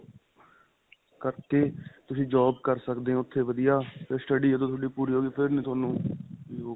ਕਰਕੇ ਤੁਸੀਂ job ਕਰ ਸਕਦੇ ਹੋ ਉੱਥੇ ਵਧੀਆ ਤੇ study ਜਦੋਂ ਤੁਹਾਡੀ ਪੂਰੀ ਹੋ ਗਈ ਫਿਰ ਨਹੀਂ ਤੁਹਾਨੂੰ .